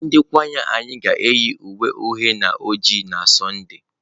Ndị kwaya anyị ga-eyi uwe uhie na oji n'Sọnde.